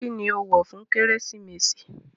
Kini o wọ fun Keresimesi?